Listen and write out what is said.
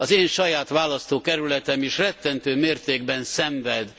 Az én saját választókerületem is rettentő mértékben szenved.